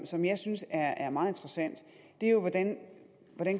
som jeg synes er meget interessant er jo hvordan